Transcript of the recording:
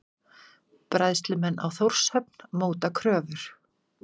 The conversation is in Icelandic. Bræðslumenn á Þórshöfn móta kröfur